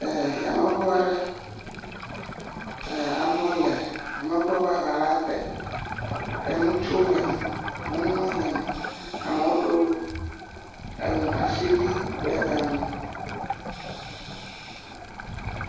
Eee. Yameŋu aɖe, amewo le yameŋua ƒe aŋala te. eŋutsuwo le eme, nyɔnuwo le eme amewo ɖɔ eŋu asiwui ɖe eŋu.